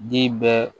Den bɛɛ